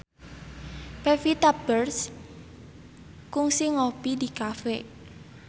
Pevita Pearce kungsi ngopi di cafe